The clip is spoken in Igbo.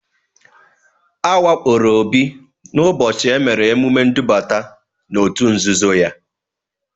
A wakporo Obi n'ụbọchị e mere emume ndubata n'òtù nzuzo ya.